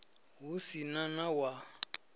hu si na na wa